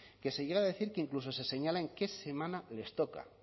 que se llegue a decir que incluso se señala en qué semana les toca